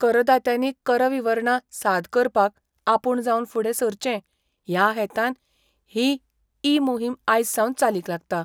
करदात्यांनी कर विवरणां साद करपाक आपूण जावन फुडें सरचे ह्या हेतान ही ई मोहीम आयज सावन चालीक लागता.